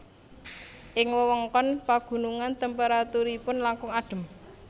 Ing wewengkon pagunungan temperaturipun langkung adhem